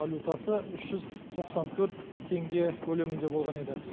валютасы үш жүз тоқсан төрт теңге көлемінде болған еді